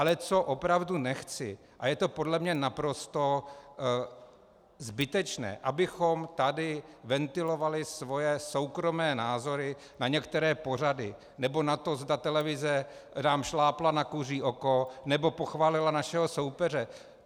Ale co opravdu nechci a je to podle mě naprosto zbytečné, abychom tady ventilovali svoje soukromé názory na některé pořady nebo na to, zda televize nám šlápla na kuří oko nebo pochválila našeho soupeře.